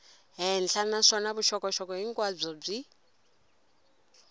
henhla naswona vuxokoxoko hinkwabyo byi